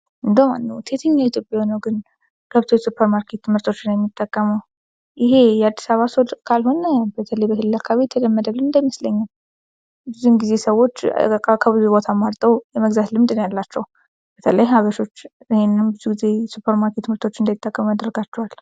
በዋናነት የትኛዉ ኢትዮጵያዊ ነዉ ግን የሱፐርማርኬት ምርት የሚጠቀመዉ? ይሄ የአዲስ አበባ ሰዎች ካልሆነ በተለይ በሌላ አካባቢ የተለመደ ልምድ አይመስለኝም። ብዙ ጊዜ ሰዎች ከብዙ ቦታ አማርጠዉ የመግዛት ልምድ ነዉ ያላቸዉ። በተለይ ሀበሾች ይሄንን የሱፐርማርኬት ምርት እንዳይጠቀሙ ያደርጋቸዋል።